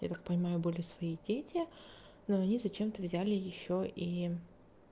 я так понимаю были свои дети но они зачем-то взяли ещё и